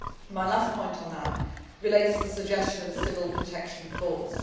My last point on that relates to the suggestion of a civil protection